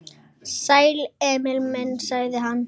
Sæll, Emil minn, sagði hann.